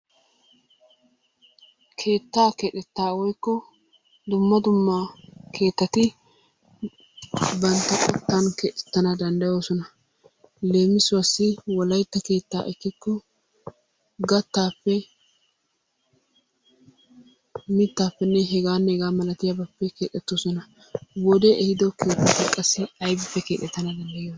Keettaa keexxetta woykko dumma dumma keettati bantta qoottan keexxettana dandayoosona. Leemisuwaasi wolaytta keettaa ekikko gattaappe mittaappe hegaanne hegaa malatiyaabatuppe keexettoosona. Wodee ehiido keettati qassi aybippe keexettana dandayiyoonaa?